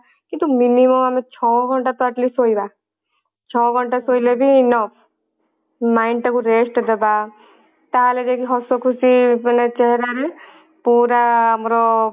କିନ୍ତୁ minimum ଆମେ ଛଅ ଘଣ୍ଟା ତ atleast ଶୋଇବା ଛଅ ଘଣ୍ଟା ଶୋଇଲେ ବି enough mind ଟାକୁ rest ଦବା ତାହେଲେ ଯାଇକି ହସ ଖୁସି ମାନେ ଚେହେରା ରେ ପୁରା ଆମର